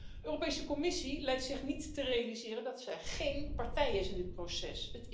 De Europese Commissie lijkt zich niet te realiseren dat ze geen partij is in dit proces.